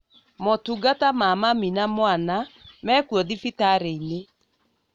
Motungata ma mami na mwana mekuo thibitarĩ-inĩ